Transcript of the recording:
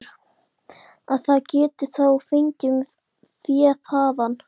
Þórhallur: Að það geti þá fengist fé þaðan?